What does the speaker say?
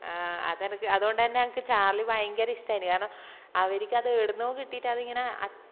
ആഹ് അതേനക്ക് അത്കൊണ്ടന്നെ എനക് ചാർളി ഭയങ്കര ഇഷ്ട്ടായിന് കാരണം അവര്ക്ക് അത് എഡ്‌ന്നോ കിട്ടിറ്റ് അത് ഇങ്ങനെ അ